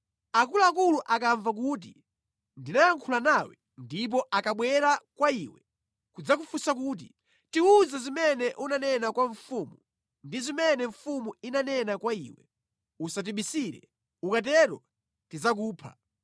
Akuluakulu akamva kuti ndinayankhula nawe ndipo akabwera kwa iwe nʼkudzakufunsa kuti, ‘Tiwuze zimene unanena kwa mfumu ndi zimene mfumu inanena kwa iwe; usatibisire, ukatero tidzakupha,’